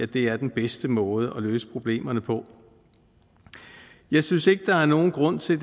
det er den bedste måde at løse problemerne på jeg synes ikke at der er nogen grund til